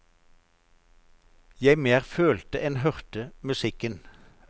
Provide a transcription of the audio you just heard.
Jeg mer følte enn hørte musikken.